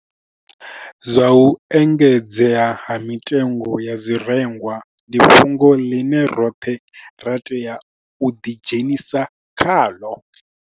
Zwa u engedzea ha mitengo ya zwirengwa ndi fhungo ḽine roṱhe ra tea u ḓi dzhenisa khaḽo.